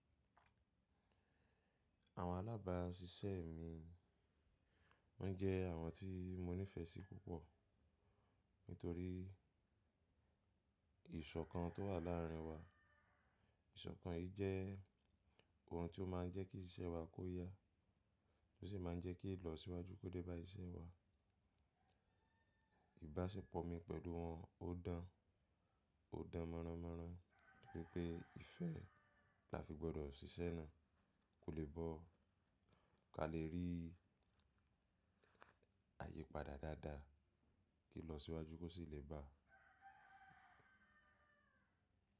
Àwọn alábàáṣiṣẹ́ mi wọ́n jẹ́ àwọn tí mo nífẹsí púpọ̀ nítorí ìṣọ̀kan tó wà láàrin wa. Ìṣọ̀kan yìí jẹ́ ohun tí ó má ń jẹ́ kí ìṣe wa kó yá, ó sì má ń jẹ́ kí ìlọsíwájú kó dé bá iṣẹ́ wa. Ìbáṣepọ̀ mi pẹ̀lú wọn ó dán, ó dán mọ́ranmọ́ran toripé ifẹ́ là fi gbọ́dọ̀ ṣiṣẹ́ náà, kò lè bọ́ ká lè rí àyípadà dáadáa kí ilọ síwájú kó sì lè bà.